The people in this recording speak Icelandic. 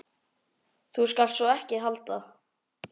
Símtal sem skiptir máli